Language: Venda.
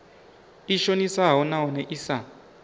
i shonisaho nahone i sa